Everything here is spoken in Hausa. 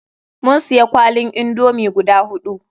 Mun siya kwalin indomi guda huɗu.